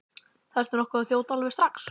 Þarftu nokkuð að þjóta alveg strax?